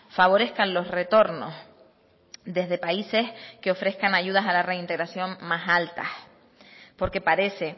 favorezcan los retornos desde países que ofrezcan ayudas a la reintegración más altas porque parece